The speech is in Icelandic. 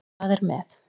Það er með